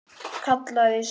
Kallaði svo